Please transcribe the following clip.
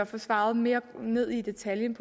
få svaret mere ned i detaljen